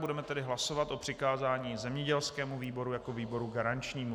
Budeme tedy hlasovat o přikázání zemědělskému výboru jako výboru garančnímu.